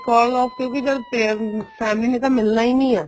because of ਕਿਉਂਕਿ family ਨੇ ਤਾਂ ਮਿਲਣਾ ਹੀ ਨਹੀਂ ਆ